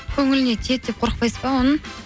көңіліне тиеді деп қорықпайсыз ба оның